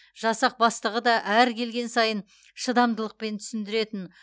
жасақ бастығы да әр келген сайын шыдамдылықпен түсіндіретін